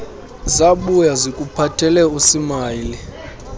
zabuya zikuphathele usmayili